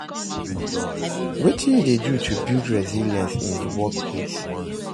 Wetin you dey do to build resilience in dey workplace?